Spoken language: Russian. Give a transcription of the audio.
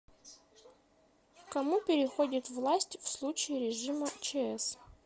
к кому переходит власть в случае режима чс